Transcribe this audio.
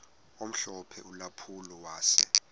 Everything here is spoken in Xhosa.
omhlophe ulampulo wase